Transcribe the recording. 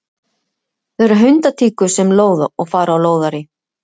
Það eru hundtíkur sem lóða og fara á lóðarí.